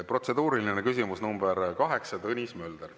Protseduuriline küsimus nr 8, Tõnis Mölder.